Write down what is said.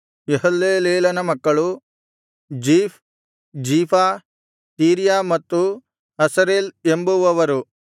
ಯೆಹಲ್ಲೆಲೇಲನ ಮಕ್ಕಳು Ziph Ziphah Tiria ಮತ್ತು Asareel ಎಂಬುವವರು